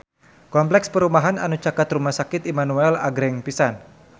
Kompleks perumahan anu caket Rumah Sakit Immanuel agreng pisan